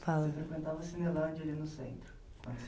Você frequentava a Cinelândia ali no centro